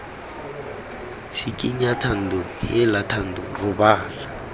tshikinya thando heela thando robala